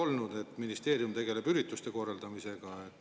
Nii et ministeerium tegeleb ürituste korraldamisega.